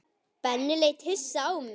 Benni leit hissa á mig.